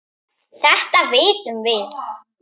Þetta vitum við.